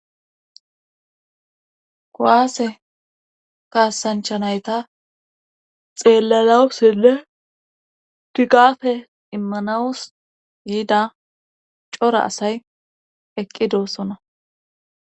kowaase kaasanchanayta xeelalawusile tigafe immanawus yiida cora asay eqqi doossona